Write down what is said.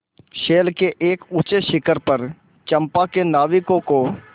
शैल के एक ऊँचे शिखर पर चंपा के नाविकों को